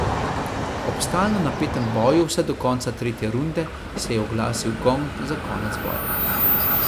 Ob stalno napetem boju vse do konca tretje runde, se je oglasil gong za konec boja.